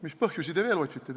Mis põhjusi te veel otsite?